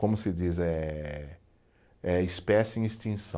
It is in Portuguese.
Como se diz, é é espécie em extinção.